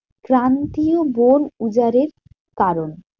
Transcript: প্রান্তিও বন উজাড়ের কারণ।